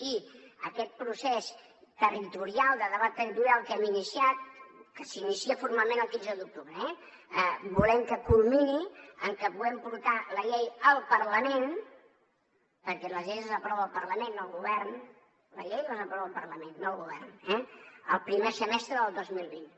i aquest procés de debat territorial que hem iniciat que s’inicia formalment el quinze d’octubre volem que culmini en que puguem portar la llei al parlament perquè les lleis les aprova el parlament no el govern les lleis les aprova el parlament no el govern eh el primer semestre del dos mil vint